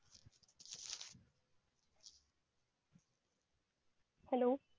hello